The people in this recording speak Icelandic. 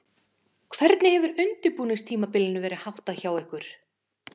Hvernig hefur undirbúningstímabilinu verið háttað hjá ykkur?